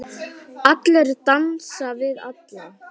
Allir dansa við alla.